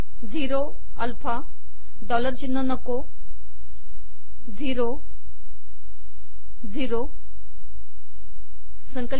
zero alpha dollar चिन्ह नको शून्य शून्य